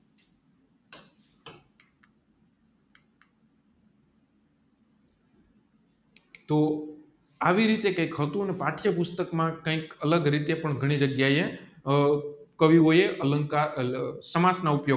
તોહ આવી રીતે કૈક હતું ને પાઠ્ય પુષ્ટક માં કૈક અલગ રીતે પણ ઘણી જગ્યા એ આ કવિ ઓ એ અલંકાર સમાસ ના ઉપયોગ